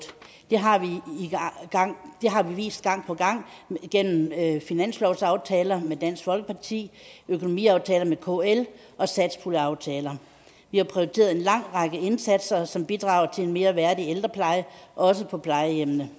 det har vi vist gang på gang gennem finanslovsaftaler med dansk folkeparti økonomiaftaler med kl og satspuljeaftaler vi har prioriteret en lang række indsatser som bidrager til en mere værdig ældrepleje også på plejehjemmene